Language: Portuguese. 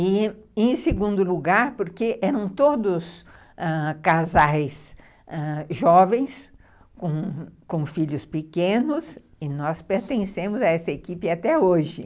E, em segundo lugar, porque eram todos ãh casais jovens, com filhos pequenos, e nós pertencemos a essa equipe até hoje.